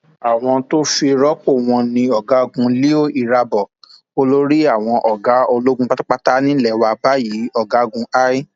awọ tó fi rọpò wọn ni ọgágun leo irabor olórí àwọn ọgá ológun pátápátá nílé wa báyìí ọgágun i